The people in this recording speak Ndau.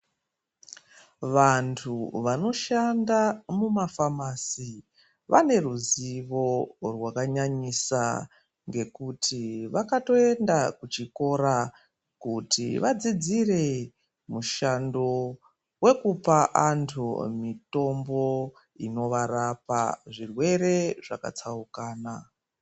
Vantu vano shanda muma famasi, vane ruzivo rwaka nyanyisa ngekuti vakatoenda kuçhikora kuti vadzidzire mushando wekupa antu mitombo ino varapa zvirwere zvàkàtsaukana.